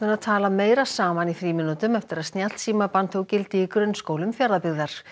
að tala meira saman í frímínútum eftir að tók gildi í grunnskólum Fjarðabyggðar